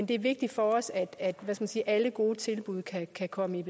det er vigtigt for os at at alle gode tilbud kan kan komme i